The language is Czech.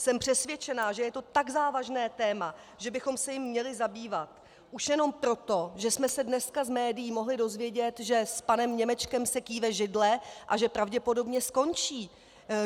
Jsem přesvědčena, že je to tak závažné téma, že bychom se jím měli zabývat, už jenom proto, že jsme se dneska z médií mohli dozvědět, že s panem Němečkem se kýve židle a že pravděpodobně skončí.